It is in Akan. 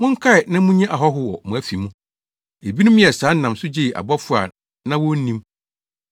Monkae na munnye ahɔho wɔ mo afi mu. Ebinom yɛɛ saa nam so gyee abɔfo a na wonnim.